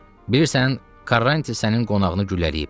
Bilirsən, Karranti sənin qonağını güllələyib.